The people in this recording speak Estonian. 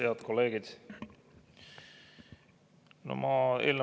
Head kolleegid!